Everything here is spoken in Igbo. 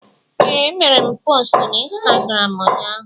Ee, emere m postu na Ịnstagram ụnyaahụ